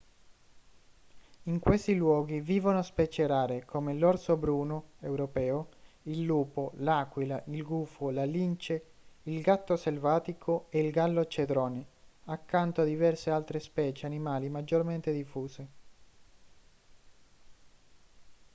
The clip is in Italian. in questi luoghi vivono specie rare come l'orso bruno europeo il lupo l'aquila il gufo la lince il gatto selvatico e il gallo cedrone accanto a diverse altre specie animali maggiormente diffuse